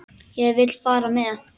Ég vil fara með.